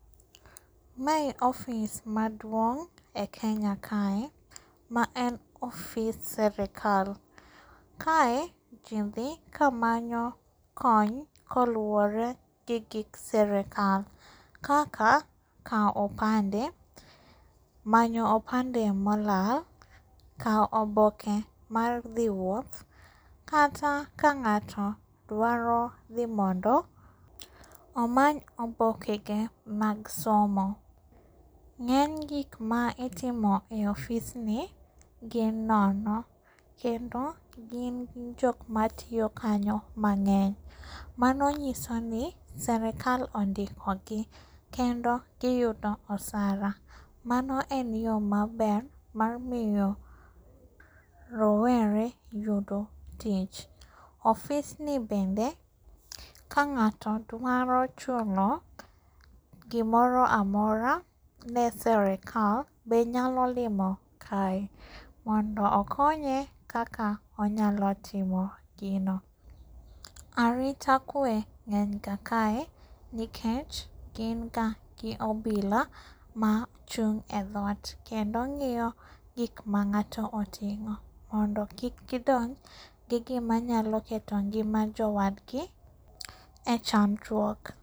Mae ofis maduong' e Kenya kae maen ofis serikal. Kae jii dhi kamanyo kony koluore gi gik serikal kaka kao opande, manyo opande molal, kao oboke mar dhi wuoth, kata ka ng'ato dwaro ni mondo omany obokege mag somo. Ng'eny gikma itimo e ofisni gin nono kendo jok matiyo kanyo mang'eny. Mano nyisoni serikal ondikogi kendo giyudo osara. Mano en yo maber marmiyo rowere yudo tich. Ofisni bende, kang'ato dwaro chulo gimoro amora ne serikal be nyalo limo kae, mondo okonye kaka onyalo timo gino. Arita kwe ng'enyga kae nikech gin ga gi obila ma chung' e thot kendo ng'iyo gikma ng'ato oting'o mondo kik gidonj gi gima nyalo keto ngima jowadgi e chandruok.